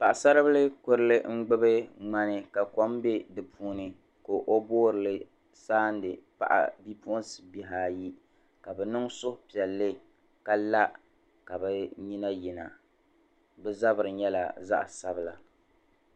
Paɣasaribili Kurili gbubi ŋmani ka kom bɛ di puuni ka boori saɣindi bipuɣi'bihi ayi ka bɛ niŋ suhu piɛlli ka la ka bɛ nyina yina bɛ zabiri nyɛla zaɣ'sabila.